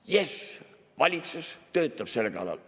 Jess, valitsus töötab selle kallal.